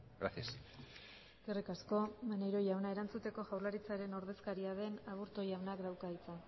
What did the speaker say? gracias eskerrik asko maneiro jauna erantzuteko jaurlaritzaren ordezkaria den aburto jaunak dauka hitza